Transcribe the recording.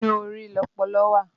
Inú orí lọpọlọ wà